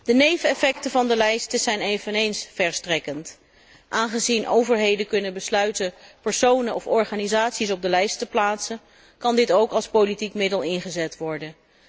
De neveneffecten van de lijsten zijn eveneens verstrekkend. Aangezien overheden kunnen besluiten personen of organisaties op de lijst te plaatsen, kan dit ook als politiek middel ingezet worden.